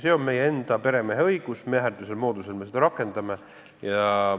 See on meie enda peremeheõigus, mäherdusel moodusel me seda rakendame.